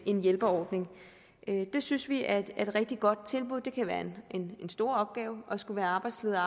en hjælpeordning det synes vi er et rigtig godt tilbud det kan være en en stor opgave at skulle være arbejdsleder